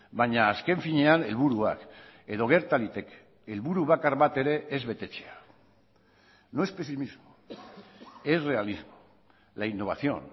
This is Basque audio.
baina azken finean helburuak edo gerta liteke helburu bakar bat ere ez betetzea no es pesimismo es realismo la innovación